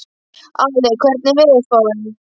Ali, hvernig er veðurspáin?